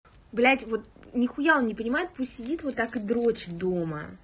блять вот нихуя он не понимает пусть сидит вот так и дрочит дома